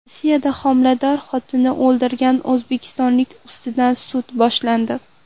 Rossiyada homilador xotinini o‘ldirgan o‘zbekistonlik ustidan sud boshlandi.